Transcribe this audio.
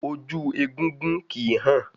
Ojú egúngún kìí hàn